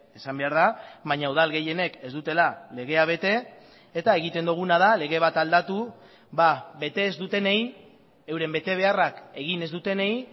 esan behar da baina udal gehienek ez dutela legea bete eta egiten duguna da lege bat aldatu bete ez dutenei euren betebeharrak egin ez dutenei